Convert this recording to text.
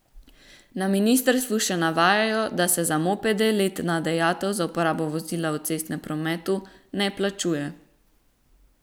Na ministrstvu še navajajo, da se za mopede letna dajatev za uporabo vozila v cestnem prometu ne plačuje.